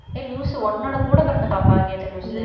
ஏய் லூசு உன்னோட கூட பிறந்த பாப்பா கேட்ட லூசு